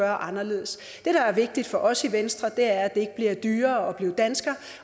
anderledes det der er vigtigt for os i venstre er at det ikke bliver dyrere at være dansker